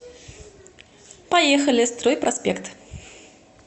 поехали стройпроспект